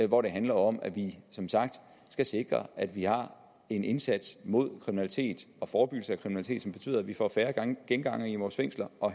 hvor det handler om at vi som sagt skal sikre at vi har en indsats mod kriminalitet og forebyggelse af kriminalitet som betyder at vi får færre gengangere i vores fængsler og